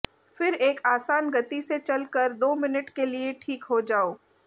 फिर एक आसान गति से चलकर दो मिनट के लिए ठीक हो जाओ